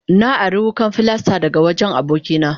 Na ari wukan filasta daga wajen abokina.